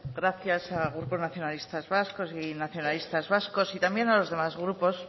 gracias al grupo nacionalistas vascos y a nacionalistas vascos y también a los demás grupos